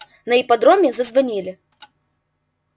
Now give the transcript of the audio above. на ипподроме зазвонили